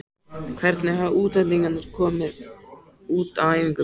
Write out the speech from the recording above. Hvernig hafa útlendingarnir komið út á æfingum?